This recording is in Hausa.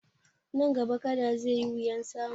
Nan gaba Kada zai yi wuyan samu